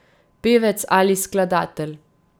Pevec ali skladatelj.